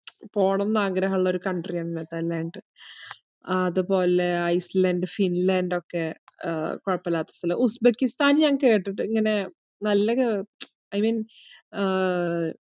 പോണംന്ന് ആഗ്രഹൊള്ളൊരു country യാണ് നെതെർലാൻഡ്‌. ആഹ് അത്പോലെ ഐസ്ലാൻഡ്‌, ഫിൻലാൻഡൊക്കെ ആഹ് കൊഴപ്പൊയില്ലാത്ത സ്ഥലാ. ഉസ്‌ബെക്കിസ്ഥാൻ ഞാൻ കേട്ടിട്ട്~ ഇങ്ങനെ നല്ല കേ~ I mean ആഹ്